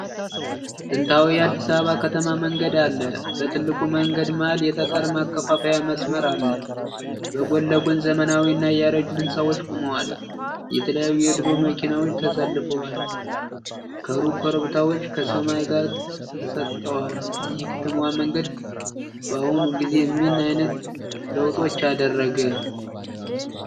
ጥንታዊ የአዲስ አበባ ከተማ መንገድ አለ። በትልቁ መንገድ መሃል የጠጠር መከፋፈያ መስመር አለ። በጎን ለጎን ዘመናዊ እና ያረጁ ሕንፃዎች ቆመዋል። የተለያዩ የድሮ መኪናዎች ተሰልፈዋል። ከሩቅ ኮረብታዎች ከሰማይ ጋር ተሰጥተዋል። ይህ የከተማ መንገድ በአሁኑ ጊዜ ምን አይነት ለውጦች አደረገ?